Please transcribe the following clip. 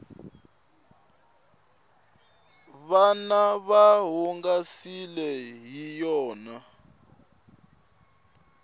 vana va hungasiwa hi yona